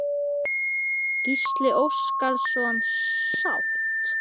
Gísli Óskarsson: Sátt?